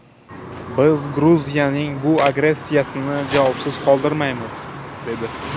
Biz Gruziyaning bu agressiyasini javobsiz qoldirmaymiz” dedi.